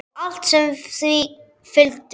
Og allt sem því fylgdi.